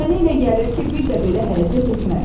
Mənə elə gəlir ki, bir də belə hərəkət etmərəm.